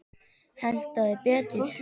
Hentaði betur.